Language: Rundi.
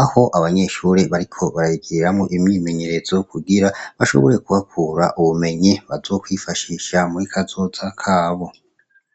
aho abanyeshuri bariko barayigiriramwo imyimenyerezo kugira bashobore ku hakura ubumenyi bazokwifashisha muri kazoza kabo.